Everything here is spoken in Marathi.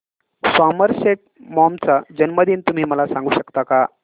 सॉमरसेट मॉम चा जन्मदिन तुम्ही मला सांगू शकता काय